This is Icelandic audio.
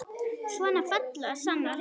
Svona falla sannar hetjur.